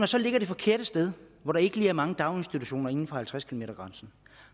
så ligger det forkerte sted hvor der ikke lige er mange daginstitutioner inden for halvtreds kilometers grænsen